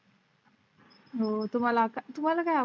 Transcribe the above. हो तुम्हाला तुम्हाला काय?